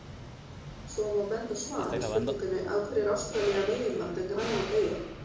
Svo má benda á svar við spurningunni Af hverju er Ástralía meginland en Grænland eyja?